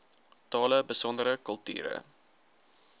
tale besondere kulture